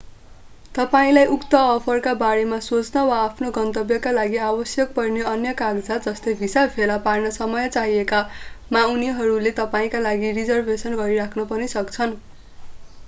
तपाईंलाई उक्त अफरका बारेमा सोच्न वा आफ्नो गन्तव्यका लागि आवश्यक पर्ने अन्य कागजात जस्तै भिसा भेला पार्न समय चाहिएमा उनीहरूले तपाईंका लागि रिजर्भेसन गरिराख्न पनि सक्छन्।